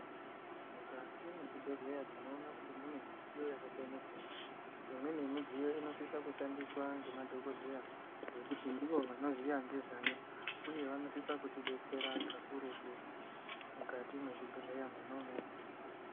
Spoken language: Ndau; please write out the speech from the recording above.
Mukati mwezvibhehlera tinoona kuti mune zvidziyo zvakasiyana -siyana. lmweni yemidziyo inosise kushandiswa nemadhokodheya nekuti ndivo vanoziya nezvayo uye, vanosise kutidetsera kakurutu mukati mwezvibhehleya mwona umwomwo.